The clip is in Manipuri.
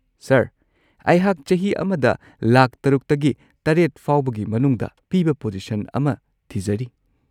ꯁꯔ, ꯑꯩꯍꯥꯛ ꯆꯍꯤ ꯑꯃꯗ ꯂꯥꯈ ꯶ꯇꯒꯤ ꯷ ꯐꯥꯎꯕꯒꯤ ꯃꯅꯨꯡꯗ ꯄꯤꯕ ꯄꯣꯖꯤꯁꯟ ꯑꯃ ꯊꯤꯖꯔꯤ꯫